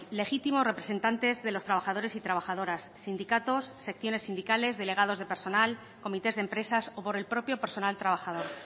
legítimos representantes de los trabajadores y trabajadoras sindicatos secciones sindicales delegados de personal comités de empresas o por el propio personal trabajador